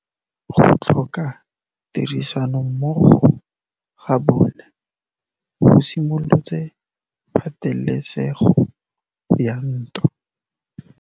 Go tlhoka tirsanommogo ga bone go simolotse patêlêsêgô ya ntwa.